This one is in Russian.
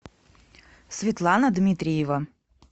светлана дмитриева